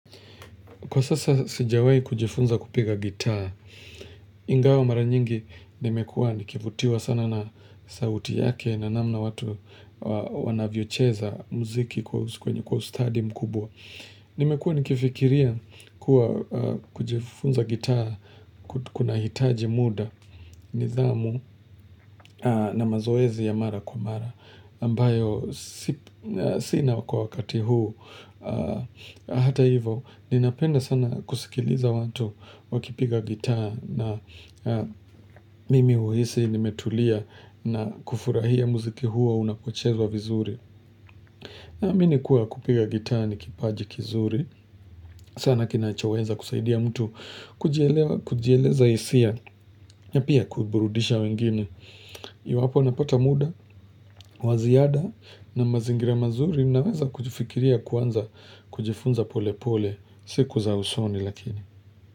Kwa sasa sijawahi kujifunza kupiga gitaa, ingawa mara nyingi nimekua nikivutiwa sana na sauti yake na namna watu wanavyocheza mziki kwenye kwenye kwa ustadhi mkubwa. Nimekua nikifikiria kuwa kujifunza gitaa kunahitaji mda nidhamu na mazoezi ya mara kwa mara ambayo sina kwa wakati huu. Hata hivyo, ninapenda sana kusikiliza watu wakipiga gitaa na mimi huhisi nimetulia na kufurahia mziki huo unapochezwa vizuri. Naamini kuwa kupiga gitaa ni kipaji kizuri, sana kinachoweza kusaidia mtu kujielewa kujieleza hisia, na pia kuburudisha wengine. Iwapo napata mda, wa ziada na mazingira mazuri ninaweza kujifikiria kwanza kujifunza pole pole siku za usoni lakini.